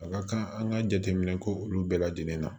A ka kan an ka jateminɛ ko olu bɛɛ lajɛlen na